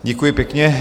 Děkuji pěkně.